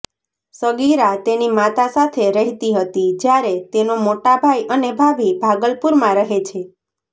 સગીરા તેની માતા સાથે રહેતી હતી જ્યારે તેનો મોટોભાઈ અને ભાભી ભાગલપુરમાં રહે છે